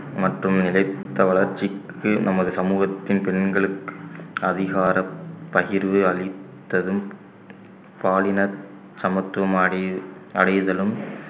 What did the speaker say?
மற்றும் நிலைத்த வளர்ச்சிக்கு நமது சமூகத்தின் பெண்களுக்கு அதிகார பகிர்வு அளித்ததும் பாலின சமத்துவம் அடை~ அடைதலும்